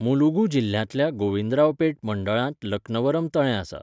मुलुगू जिल्ह्यांतल्या गोविंदरावपेट मंडळांत लक्नवरम तळें आसा.